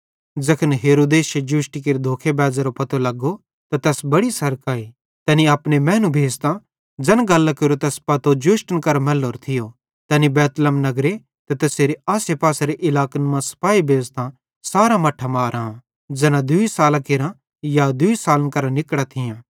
ज़ैखन हेरोदेसे जोष्टी केरे धोखे बैज़रो पतो लगो त तैस बड़ी सरक आई तैनी अपने मैनू भेज़तां ज़ैन गल्लां केरो पतो तैस जोष्टन करां मैल्लोरो थियो तैनी बैतलहम नगरे ते तैसेरे आसेपासेरे इलाकन मां सिपाही भेज़तां सारां मट्ठां ज़ैना दूई सालां केरां या दूई सालन करां निकड़ां थियां मारां